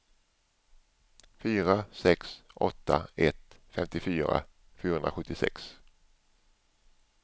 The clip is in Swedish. fyra sex åtta ett femtiofyra fyrahundrasjuttiosex